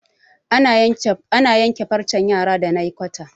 ana yanke farcen yara da naykwata